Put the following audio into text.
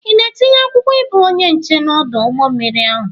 Ị na-etinye akwụkwọ ịbụ onye nche n'ọdụ ụgbọ mmiri ahụ?